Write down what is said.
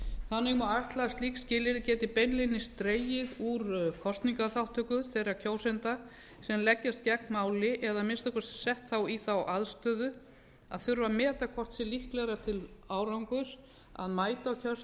þannig má ætla að slík skilyrði geti beinlínis dregið úr kosningaþátttöku þeirra kjósenda sem leggjast gegn máli eða að minnsta kosti sett þá í þá aðstöðu að þurfa að meta hvort sé líklegra til árangurs að mæta á kjörstað eða